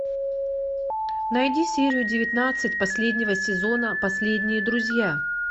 найди серию девятнадцать последнего сезона последние друзья